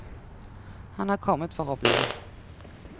Han er kommet for å bli.